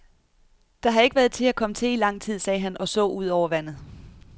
Der har ikke været til at komme til i lang tid, sagde han og så ud over vandet.